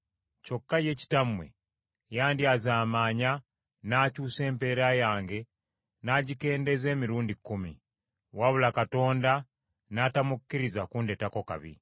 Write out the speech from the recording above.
Kyokka ye kitammwe yandyazaamanya n’akyusa empeera yange n’agikendeeza emirundi kkumi; wabula Katonda n’atamukkiriza kundeetako kabi.